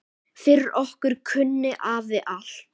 Fyrir okkur kunni afi allt.